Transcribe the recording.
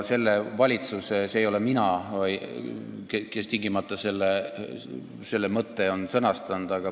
See ei ole mina, kes on selle mõtte sõnastanud.